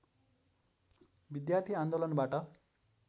विद्यार्थी आन्दोलनबाट